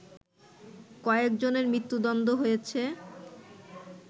কয়েকজনের মৃত্যুদণ্ড হয়েছে